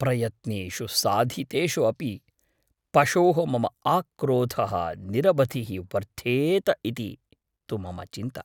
प्रयत्नेषु साधितेषु अपि पशोः मम आक्रोधः निरवधिः वर्धेत इति तु मम चिन्ता।